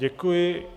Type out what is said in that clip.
Děkuji.